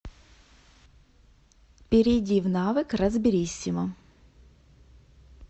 перейди в навык разбериссимо